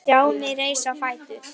Stjáni reis á fætur.